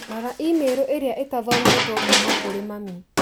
Rora i-mīrū ĩrĩa itathometũo kuuma kũrĩ mami